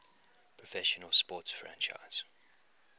professional sports franchise